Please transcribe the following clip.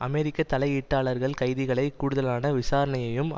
அமெரிக்க தலையீட்டாளர்கள் கைதிகளை கூடுதலான விசாரணையையும்